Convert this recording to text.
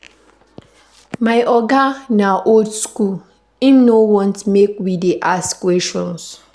My oga na old skool, im no want make we dey ask questions.